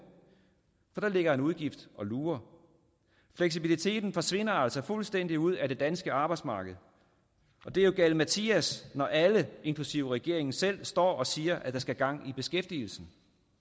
for der ligger en udgift og lurer fleksibiliteten forsvinder altså fuldstændig ud af det danske arbejdsmarked og det er jo galimatias når alle inklusive regeringen selv står og siger at der skal gang i beskæftigelsen